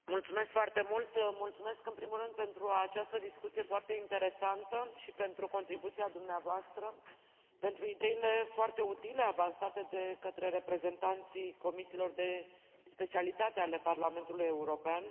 Mulțumesc foarte mult, mulțumesc, în primul rând, pentru această discuție foarte interesantă și pentru contribuția dumneavoastră, pentru ideile foarte utile avansate de către reprezentanții comisiilor de specialitate ale Parlamentului European.